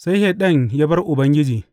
Sai Shaiɗan ya bar Ubangiji.